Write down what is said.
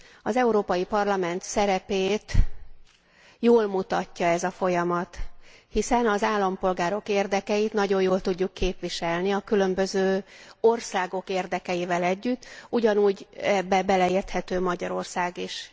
Az Európai Parlament szerepét jól mutatja ez a folyamat, hiszen az állampolgárok érdekeit nagyon jól tudjuk képviselni a különböző országok érdekeivel együtt, ugyanúgy ebbe beleérthető Magyarország is.